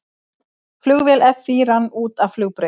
Flugvél FÍ rann út af flugbraut